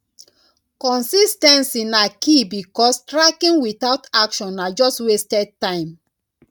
consis ten cy na key because tracking without action na just wasted time